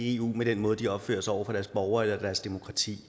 i eu med den måde de opfører sig over for deres borgere eller deres demokrati